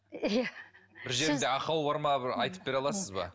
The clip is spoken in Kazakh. иә бір жерімде ақау бар ма бір айтып бере аласыз ба